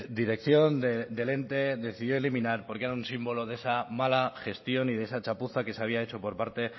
dirección del ente decidió eliminar porque era un símbolo de esa mala gestión y de esa chapuza que se había hecho por parte